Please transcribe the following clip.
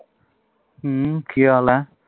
ਹੂ ਕੀ ਹਾਲ ਹੈ